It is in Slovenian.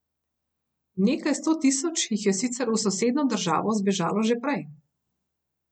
Nekaj sto tisoč jih je sicer v sosednjo državo zbežalo že prej.